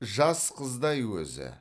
жас қыздай өзі